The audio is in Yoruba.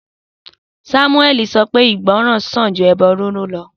Samuẹli sọ pé ìgbọràn sàn ju ẹbọ riru lọ